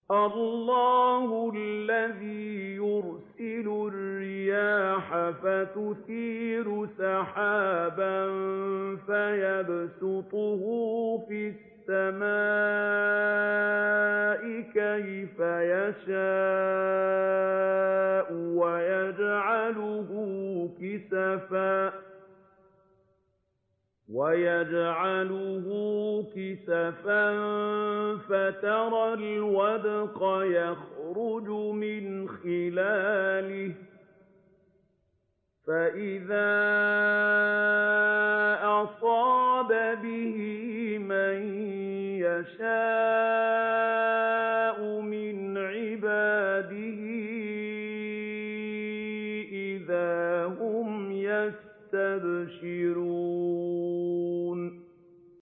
اللَّهُ الَّذِي يُرْسِلُ الرِّيَاحَ فَتُثِيرُ سَحَابًا فَيَبْسُطُهُ فِي السَّمَاءِ كَيْفَ يَشَاءُ وَيَجْعَلُهُ كِسَفًا فَتَرَى الْوَدْقَ يَخْرُجُ مِنْ خِلَالِهِ ۖ فَإِذَا أَصَابَ بِهِ مَن يَشَاءُ مِنْ عِبَادِهِ إِذَا هُمْ يَسْتَبْشِرُونَ